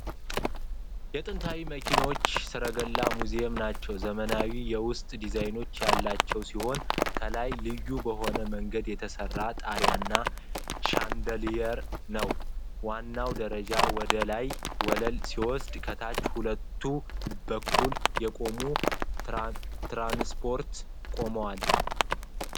የጥንታዊ መኪኖችና ሰረገላዎች ሙዚየም ናቸው ። ዘመናዊ የውስጥ ዲዛይን ያለው ሲሆን፣ ከላይ ልዩ በሆነ መንገድ የተሰራ ጣሪያና ሻንደልየር ነው ። ዋናው ደረጃ ወደ ላይኛው ወለል ሲወስድ፣ ከታች በሁለቱም በኩል የቆዩ ትራንስፖርት ቆመዋል።